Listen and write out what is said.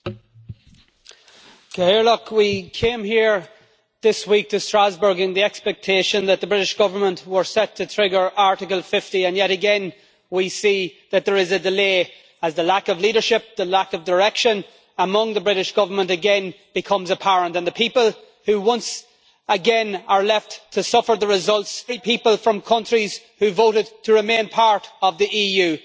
Mr President, we came here this week to Strasbourg in the expectation that the British Government was set to trigger Article 50, and yet again we see that there is a delay, as the lack of leadership, the lack of direction among the British Government, again becomes apparent and the people who, once again, are left to suffer the results are those very people from countries who voted to remain part of the EU.